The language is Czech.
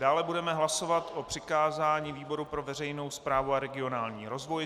Dále budeme hlasovat o přikázání výboru pro veřejnou správu a regionální rozvoj.